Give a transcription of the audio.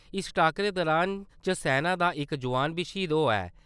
इस टाक्करे दौरान सेना दा इक जोआन बी श्हीद होआ ऐ।